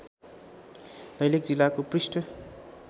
दैलेख जिल्लाको पृष्ठ